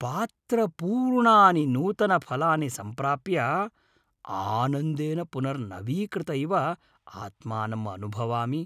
पात्रपूर्णानि नूतनफलानि सम्प्राप्य आनन्देन पुनर्नवीकृत इव आत्मानम् अनुभवामि।